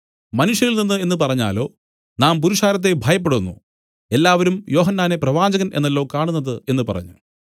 മനുഷ്യരിൽ നിന്നു എന്നു പറഞ്ഞാലോ നാം പുരുഷാരത്തെ ഭയപ്പെടുന്നു എല്ലാവരും യോഹന്നാനെ പ്രവാചകൻ എന്നല്ലോ കാണുന്നത് എന്നു പറഞ്ഞു